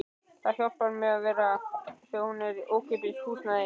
Það hjálpar mikið að hún er í ókeypis húsnæði.